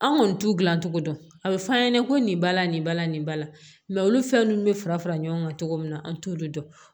An kɔni t'u gilan cogo dɔn a bɛ f'an ɲɛna ko nin bala nin bala nin bala olu fɛn ninnu bɛ fara fara ɲɔgɔn kan cogo min na an t'olu dɔn